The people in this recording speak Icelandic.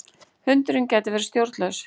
Hundurinn gæti verið stjórnlaus.